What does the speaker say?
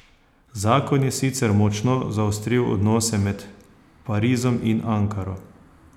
Zakon je sicer močno zaostril odnose med Parizom in Ankaro.